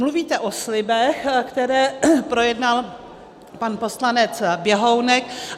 Mluvíte o slibech, které projednal pan poslanec Běhounek.